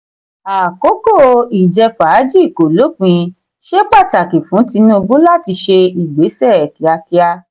àkókò ìjẹ-fàájì kò lópin; ṣe pàtàkì fún tinubu láti ṣe ìgbésẹ kíákíá.